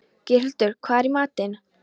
Geirhildur, hvað er í matinn?